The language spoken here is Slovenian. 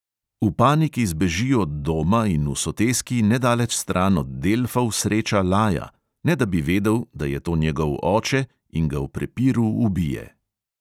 V paniki zbeži od doma in v soteski nedaleč stran od delfov sreča laja, ne da bi vedel, da je to njegov oče, in ga v prepiru ubije.